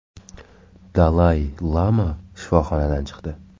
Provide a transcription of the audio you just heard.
Dalay Lama shifoxonadan chiqdi.